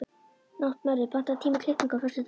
Náttmörður, pantaðu tíma í klippingu á föstudaginn.